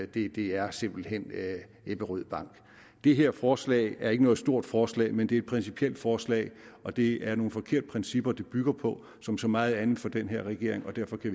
det er simpelt hen ebberød bank det her forslag er ikke noget stort forslag men det er et principielt forslag og det er nogle forkerte principper det bygger på som så meget andet for den her regering